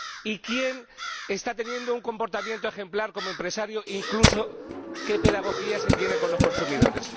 Y quién está teniendo un comportamiento ejemplar como empresario, incluso qué pedagogía se reserva para los consumidores.